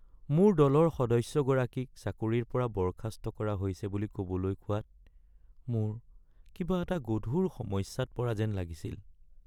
মোৰ দলৰ সদস্যগৰাকীক চাকৰিৰ পৰা বৰ্খাস্ত কৰা হৈছে বুলি ক’বলৈ কোৱাত মোৰ কিবা এটা গধুৰ সমস্যাত পৰা যেন লাগিছিল।